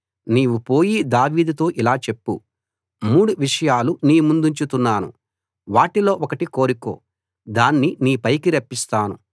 నీవు పోయి దావీదుతో ఇలా చెప్పు మూడు విషయాలు నీ ముందుంచుతున్నాను వాటిలో ఒకటి కోరుకో దాన్ని నీపైకి రప్పిస్తాను